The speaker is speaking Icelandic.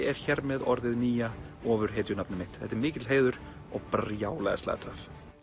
er hér með orðið nýja ofurhetjunafnið mitt þetta er mikill heiður og brjálæðislega töff ?